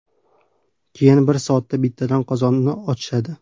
Keyin har soatda bittadan qozonni ochishadi.